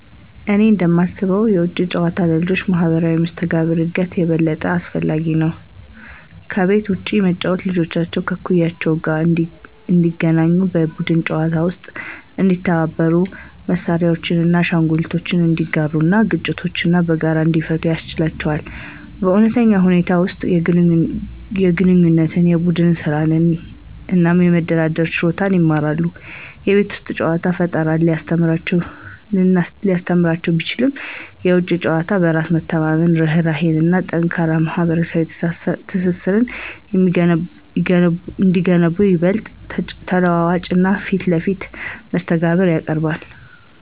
እኔ እንደማስበው የውጪ ጨዋታ ለልጆች ማህበራዊ መስተጋብር እድገት የበለጠ አስፈላጊ ነው። ከቤት ውጭ መጫወት ልጆች ከእኩዮቻቸው ጋር እንዲገናኙ, በቡድን ጨዋታዎች ውስጥ እንዲተባበሩ, መሳሪያዎችን ወይም አሻንጉሊቶችን እንዲጋሩ እና ግጭቶችን በጋራ እንዲፈቱ ያስችላቸዋል. በእውነተኛ ሁኔታዎች ውስጥ የግንኙነት፣ የቡድን ስራ እና የመደራደር ችሎታን ይማራሉ። የቤት ውስጥ ጨዋታ ፈጠራን ሊያስተምር ቢችልም፣ የውጪ ጨዋታ በራስ መተማመንን፣ ርህራሄን እና ጠንካራ ማህበራዊ ትስስርን የሚገነቡ ይበልጥ ተለዋዋጭ እና ፊት ለፊት መስተጋብር ያቀርባል።